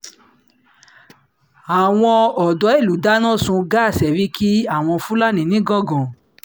àwọn odò ìlú dáná sun gáà sẹ́ríkì àwọn fúlàní nìgangan